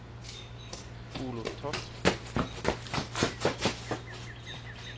Oluf Toft